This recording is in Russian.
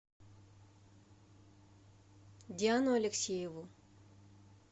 диану алексееву